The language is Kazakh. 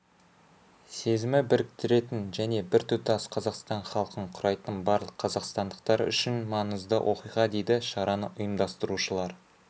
сезімі біріктіретін және біртұтас қазақстан халқын құрайтын барлық қазақстандықтар үшін маңызды оқиға дейді шараны ұйымдастырушылар